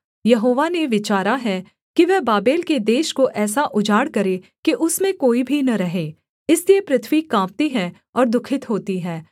यहोवा ने विचारा है कि वह बाबेल के देश को ऐसा उजाड़ करे कि उसमें कोई भी न रहे इसलिए पृथ्वी काँपती है और दुःखित होती है